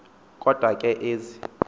kodwa ke ezi